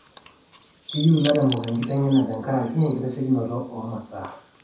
keyieu ilairemok enkiteng'ena tenkaraki enkitaishekinoto oo masaa